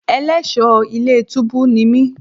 Ẹlẹ́ṣọ̀ọ́ ilé túbú ni mí.